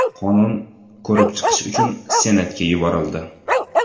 Qonun ko‘rib chiqish uchun Senatga yuborildi.